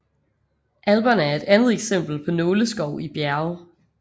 Alperne er et andet eksempel på nåleskov i bjerge